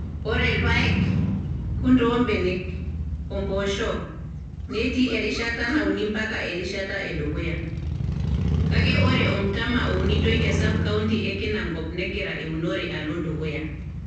Ore irpaek, kunde oo mbenek, o mpoosho, netii erishata nauni ompaka erishata edukuya, kake ore ormtama ounitoi te sub county e Kinangop negira eunore alo dukuya.